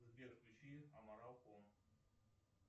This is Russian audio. сбер включи аморал ком